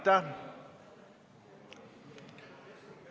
See on Reformierakonna soov.